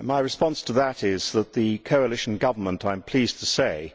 My response to that is that the coalition government, I am pleased to say,